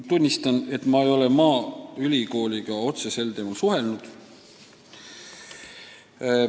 Tunnistan, et ma ei ole maaülikooliga sel teemal suhelnud.